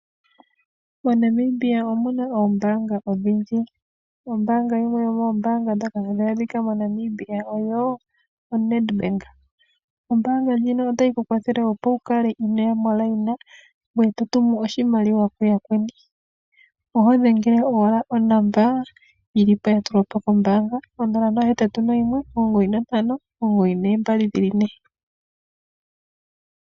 MoNamibia omuna oombaanga odhindji. Ombaanga yimwe yomoombaanga ndhoka hadhi adhika moNamibia oyo oNedbank. Ombaanga ndjino otayi kukwathele opo wukale inooya momukweyo ngoye to tumu oshimaliwa kuyakweni, ohodhengele owala onomola yili po ya tu lwapo kombaanga 0819592222.